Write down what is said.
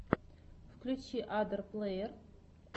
включи адор плэйер